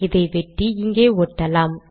இதை வெட்டி இங்கே ஒட்டலாம்